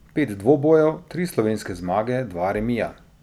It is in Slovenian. Pet dvobojev, tri slovenske zmage, dva remija.